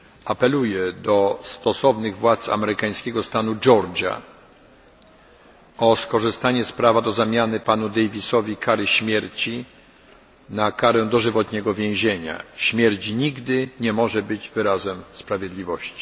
Apeluję do stosownych władz amerykańskiego stanu Georgia o skorzystanie z prawa do zmiany ciążącej na panu Davisie kary śmierci na karę dożywotniego więzienia. Śmierć nigdy nie może być wyrazem sprawiedliwości.